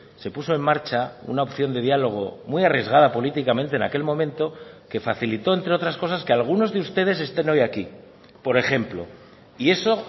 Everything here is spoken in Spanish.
se puso en marcha una opción de diálogo muy arriesgada políticamente en aquel momento que facilitó entre otras cosas que algunos de ustedes estén hoy aquí por ejemplo y eso